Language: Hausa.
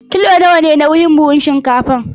Kilo nawa ne nauyin buhun shinkafar?